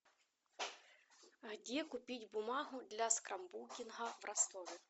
где купить бумагу для скрапбукинга в ростове